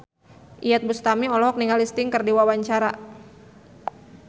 Iyeth Bustami olohok ningali Sting keur diwawancara